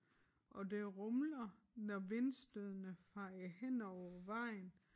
Og det rumler når vindstødene fejer henover vejen